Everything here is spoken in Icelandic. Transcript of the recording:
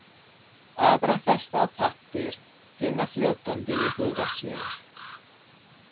Aðra festa á pappír, hina fljótandi í huga sér.